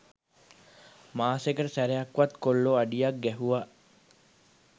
මාසෙකට සැරයක්වත් කොල්ලො අඩියක් ගැහුව